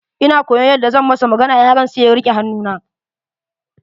Ina koyaon yadda zan masa magana, yaron sai ya rike hannu na.